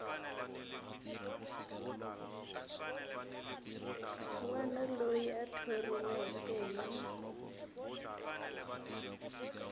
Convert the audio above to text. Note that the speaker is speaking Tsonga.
wana loyi a thoriweke hi